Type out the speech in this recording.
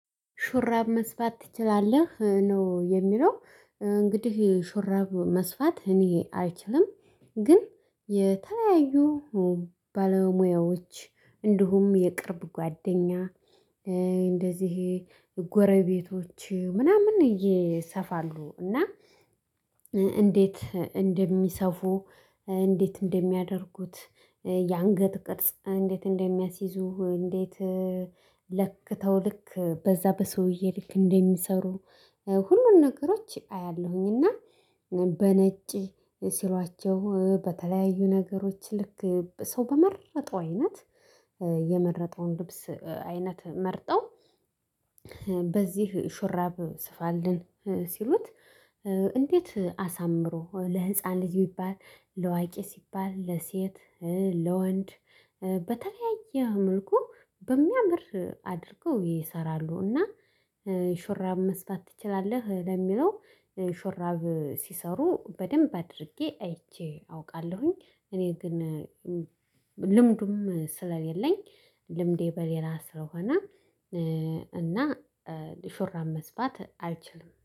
ሹራብ መስፋት ትችላለህ? ነው የሚለው እንግዲህ ሹራብ መስፋት እኔ አይችልም ግን የተለያዩ ባለሙያዎች እንዲሁም የቅርብ ጓደኛ እንደዚህ ጎረቤቶች ምናምን ይሰፋሉ እና እንዴት እንደሚሰፉ እንዴት እንደሚያደርጉት የአንገት ቅርጽ እንዴት እንደሚያስይዙ እንዴት ለክተው ልክ በዛ በሰውዬ ልክ እንደሚሰሩ ሁሉን ነገሮች አያለሁኝና በነጭ ስሏቸው በተለያዩ ነገሮች ልክ ሰው በመረጠው አይነት የመረጠውን ልብስ አይነት መርጠው በዚህ ሽራብ ስፋልን ሲሉት እንዴት አሳምሮ ለህፃን ልጅ ቢባል ለአዋቂ ሲባል ለሴት ለወንድ በተለያየ መልኩ በሚያምር አድርገው ይሰራሉና የሹራብ መስፋት ትችላለህ ለሚለው ሹራብ ሲሰሩ በደንብ አድርጌ አይቼ አውቃለሁኝ እኔ ግን ልምዱም ስለሌለኝ ልምዴ በሌላ ስለሆነ እና ሹራብ መስፋት አልችልም